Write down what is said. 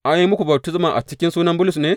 An yi muku baftisma a cikin sunan Bulus ne?